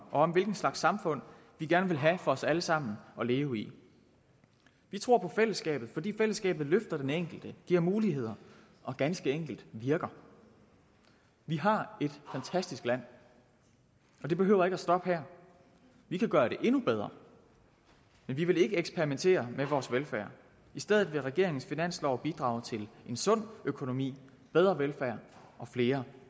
og om hvilket slags samfund vi gerne vil have for os alle sammen at leve i vi tror på fællesskabet fordi fællesskabet løfter den enkelte og giver muligheder og ganske enkelt virker vi har et fantastisk land og det behøver ikke at stoppe her vi kan gøre det endnu bedre men vi vil ikke eksperimentere med vores velfærd i stedet vil regeringens finanslov bidrage til en sund økonomi bedre velfærd og flere